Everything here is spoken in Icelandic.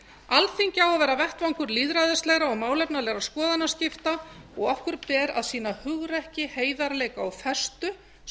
alþingi á að vera vettvangur lýðræðislegra og málefnalegra skoðanaskipta og okkur ber að sýna hugrekki heiðarleika og festu svo